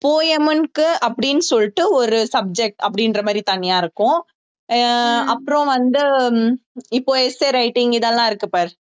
poem க்கு அப்படின்னு சொல்லிட்டு ஒரு subject அப்படின்ற மாதிரி தனியா இருக்கும் ஆஹ் அப்புறம் வந்து இப்போ essay writing இதெல்லாம் இருக்கு பாரு